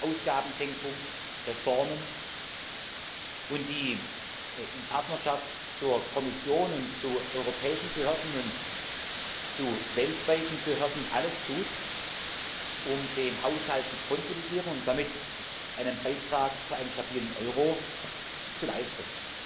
Ausgabensenkungen, Reformen und die in Partnerschaft zur Kommission und zu europäischen Behörden und zu weltweiten Behörden alles tut, um den Haushalt zu konsolidieren und damit einen Beitrag zu einem stabilen Euro zu leisten.